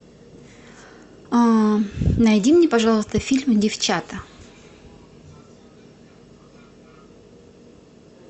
найди мне пожалуйста фильм девчата